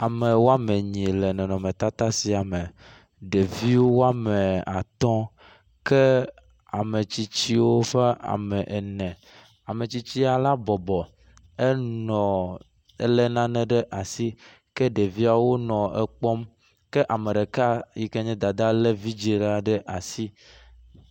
Ame woame enyie le nɔnɔmetata ya me, ɖevi wome atɔ̃ ke ametsiwo ƒe ame ene, ametsitsi ya la bɔbɔ, enɔ ele nane ɖe asi ke ɖeviawo nɔ ekpɔm kea me ɖeka yi ken ye dada le ɖeve ɖe asi